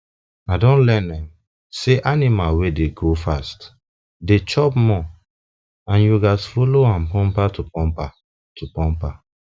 i don learn um say animal wey dey grow fast dey chop more and you gats dey follow am bumper to bumper to bumper